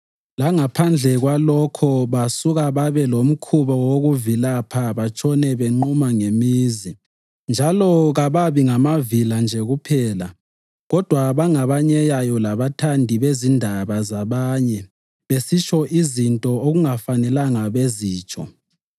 Langaphandle kwalokho, basuka babe lomkhuba wokuvilapha batshone benquma ngemizi. Njalo kababi ngamavila nje kuphela kodwa bangabanyeyayo labathandi bezindaba zabanye besitsho izinto okungafanelanga bazitsho.